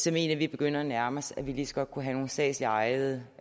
vi at vi begynder at nærme os at vi lige så godt kunne have nogle statsligt ejede